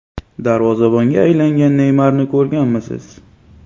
Darvozabonga aylangan Neymarni ko‘rganmisiz?